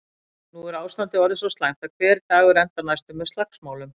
Nú er ástandið orðið svo slæmt að hver dagur endar næstum með slagsmálum.